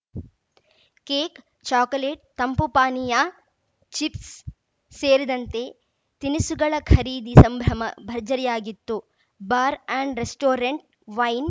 cake chocolate ತಂಪು ಪಾನೀಯ chips ಸೇರಿದಂತೆ ತಿನಿಸುಗಳ ಖರೀದಿ ಸಂಭ್ರಮ ಭರ್ಜರಿಯಾಗಿತ್ತು ಬಾರ್‌ ಅಂಡ್‌ ರೆಸ್ಟೋರೆಂಟ್‌ ವೈನ್‌